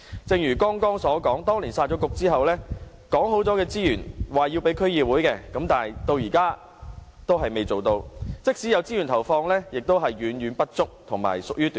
正如我剛才所說，當年"殺局"後，政府說好要投放給區議會的資源，至今仍然沒有履行，即使投放資源，也遠遠不足，而且屬於短線。